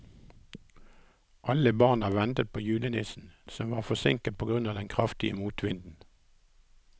Alle barna ventet på julenissen, som var forsinket på grunn av den kraftige motvinden.